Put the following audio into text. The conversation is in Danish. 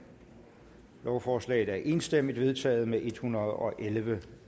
lovforslaget er enstemmigt vedtaget med en hundrede og elleve